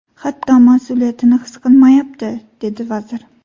Hatto mas’uliyatni his qilmayapti”, dedi vazir.